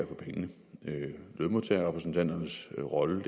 for pengene lønmodtagerrepræsentanternes rolle